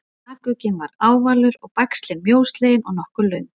bakugginn er ávalur og bægslin mjóslegin og nokkuð löng